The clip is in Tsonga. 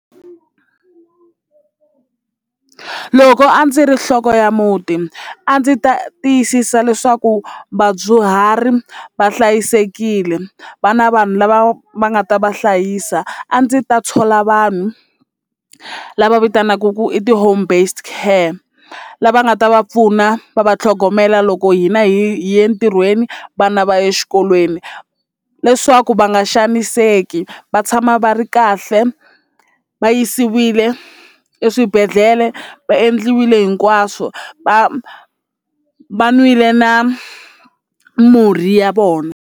Loko a ndzi ri nhloko ya muti a ndzi ta tiyisisa leswaku vadyuhari va hlayisekile va na vanhu lava va nga ta va hlayisa a ndzi ta thola vanhu lava vitanaka ku i ti-home based care lava nga ta va pfuna va va tlhogomela loko hina hi ye entirhweni vana va exikolweni leswaku va nga xaniseki va tshama va ri kahle va yisiwile eswibedhlele va endliwile hinkwaswo va va nwile na murhi ya vona.